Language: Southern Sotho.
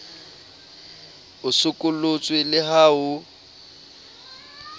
o sokolotswe le ha ho